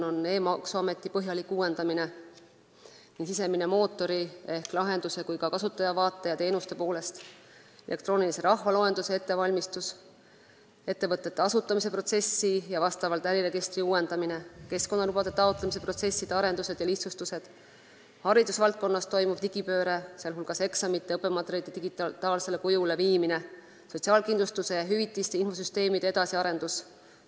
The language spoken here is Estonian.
Toimub e-maksuameti põhjalik uuendamine nii sisemise mootori ehk lahenduse kui ka kasutajavaate ja teenuste poolest, käib elektroonilise rahvaloenduse ettevalmistus, ettevõtete asutamise protsessi ja äriregistri uuendamine, keskkonnalubade taotlemise arendused ja lihtsustused, haridusvaldkonnas toimuv digipööre, sh eksamite ja õppematerjalide digitaalsele kujule viimine, ning sotsiaalkindlustushüvitiste infosüsteemi edasiarendus.